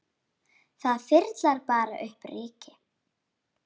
Verður þeirra þáttur seint metinn.